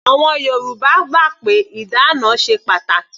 Àwọn Yorùbá gbà pé ìdána ṣe pàtàkì.